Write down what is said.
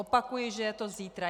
Opakuji, že je to zítra.